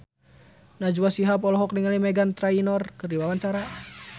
Najwa Shihab olohok ningali Meghan Trainor keur diwawancara